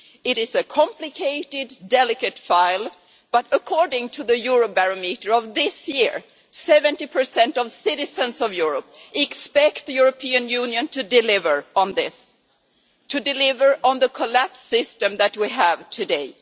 It is a complicated, delicate file, but according to the Eurobarometer of this year 70 of citizens of Europe expect the European Union to deliver on this, to deliver on the collapsed system that we have today.